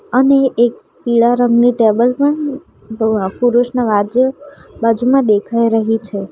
અને એક પીળા રંગની ટેબલ પણ પુરુષના વાજે બાજુમાં દેખાઈ રહી છે.